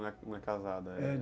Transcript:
não é casada, é?